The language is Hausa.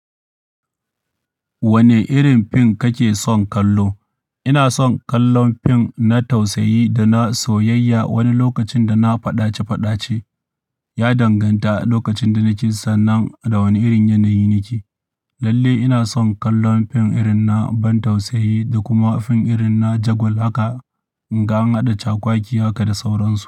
Wane irin fim kake son kallo? Ina son kallon fim na tausayi da na soyayya. Wani lokacin da na faɗace faɗace ya danganta a lokacin da nake sannan da wane irin yanayi nake. Lalle ina son kallon fim irin na ban tausayi da kuma fim irin na jagwal haka in ga an haɗa cakwakiya haka da sauransu.